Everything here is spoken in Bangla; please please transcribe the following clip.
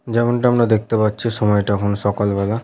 যেমনটা আমরা দেখতে পাচ্ছি সময়টা হলো সকালবেলা।